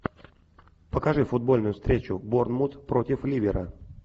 покажи футбольную встречу борнмут против ливера